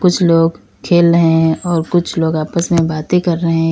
कुछ लोग खेल रहे हैं और कुछ लोग आपस में बातें कर रहें है।